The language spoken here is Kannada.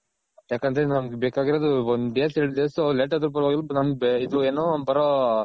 ಯಾಕಂದ್ರೆ ನಮ್ಗ್ ಬೇಕಾಗಿರೋದ್ ಒಂದ್ days ಎರಡ್ days late ಆದ್ರು ಪರವಾಗಿಲ್ಲ ನಮ್ಗ್ ಇದು ಏನು ಬರೋ